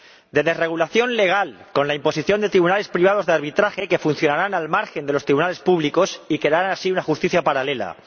De desregulación legal, con la imposición de tribunales privados de arbitraje que funcionarán al margen de los tribunales públicos y crearán así una justicia paralela.